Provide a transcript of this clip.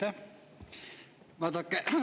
Aitäh!